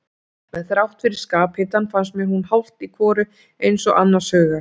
En þrátt fyrir skaphitann fannst mér hún hálft í hvoru eins og annars hugar.